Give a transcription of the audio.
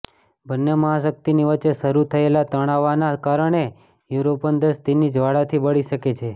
બન્ને મહાશક્તિના વચ્ચે શરૂ થયેલા તણવાના કારણે યુરોપન દેશ તેની જ્વાળાથી બળી શકે છે